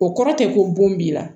O kɔrɔ tɛ ko bon b'i la